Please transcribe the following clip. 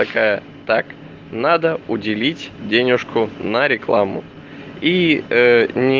такая так надо уделить денежку на рекламу и э ни